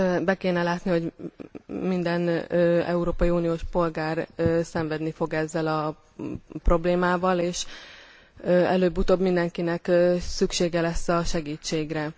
Be kéne látni, hogy minden európai uniós polgár szenvedni fog ezzel a problémával, és előbb utóbb mindenkinek szüksége lesz a segítségre.